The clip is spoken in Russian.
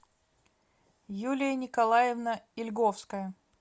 юлия николаевна ильговская